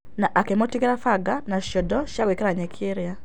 Na akĩ mũtigĩra baga na ciondo cia gwĩkĩra nyeki ĩriĩ.